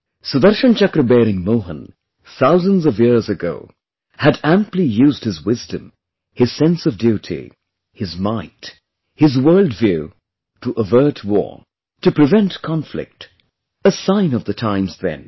Sudarshan Chakra bearing Mohan, thousands of years ago, had amply used his wisdom, his sense of duty, his might, his worldview to avert war, to prevent conflict, a sign of the times then